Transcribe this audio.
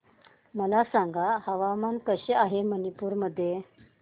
मला सांगा हवामान कसे आहे मणिपूर मध्ये